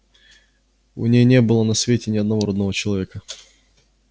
у ней не было на свете ни одного родного человека